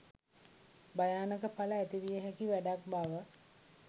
භයානක ඵල ඇතිවිය හැකි වැඩක් බව